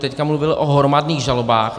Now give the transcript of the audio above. Teď mluvil o hromadných žalobách.